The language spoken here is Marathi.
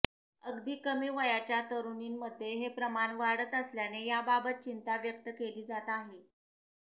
अगदी कमी वयाच्या तरुणींमध्ये हे प्रमाण वाढत असल्याने याबाबत चिंता व्यक्त केली जात आहे